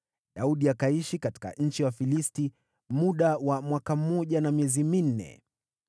Daudi akaishi katika nchi ya Wafilisti muda wa mwaka mmoja na miezi minne.